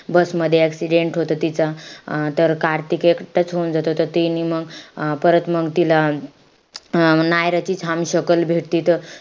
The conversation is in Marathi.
Bus मध्ये accident होत तिचा. अं तर कार्तिक एकटाच होऊन जातो. त ती मंग परत मंग तिला अं नायराचीच छान शकलं भेटते त,